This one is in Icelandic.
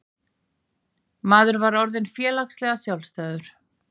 Maður var orðinn fjárhagslega sjálfstæður.